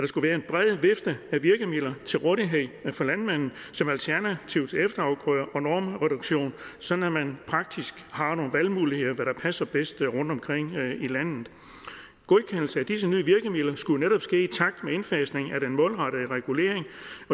skulle være en bred vifte af virkemidler til rådighed for landmanden som alternativ til efterafgrøder og normreduktion sådan at man praktisk har nogle valgmuligheder hvad der passer bedst rundtomkring i landet godkendelse af disse nye virkemidler skulle jo netop ske i takt med indfasningen af den målrettede regulering